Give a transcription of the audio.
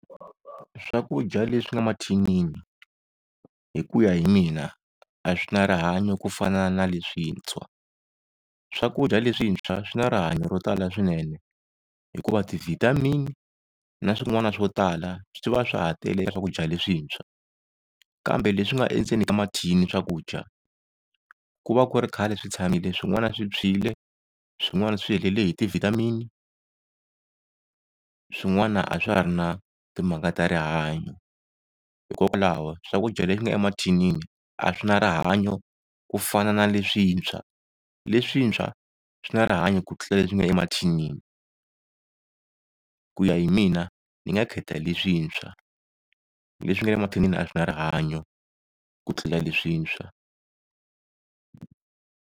Swakudya leswi nga mathinini hi ku ya hi mina a swi na rihanyo ku fana na leswintshwa. Swakudya leswintshwa swi na rihanyo ro tala swinene hikuva ti-vitamin-i na swin'wana swo tala swi va swa ha tele swakudya leswintshwa. Kambe leswi nga endzeni ka mathini swakudya ku va ku ri khale swi tshamile swin'wana swi tshwile swin'wana swi helele hi ti-vitamin-i. Swin'wana a swa ha ri na timhaka ta rihanyo, hikokwalaho swakudya leswi nga emathinini a swi na rihanyo ku fana na leswintshwa. Leswintshwa swi na rihanyo ku tlula leswi nga emathinini ku ya hi mina ni nga khetha leswintshwa. Leswi nga le mathinini a swi na rihanyo ku tlula leswintshwa.